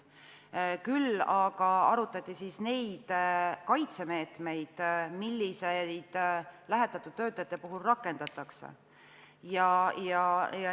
Küll aga arutati kaitsemeetmeid, mida lähetatud töötajate puhul rakendatakse.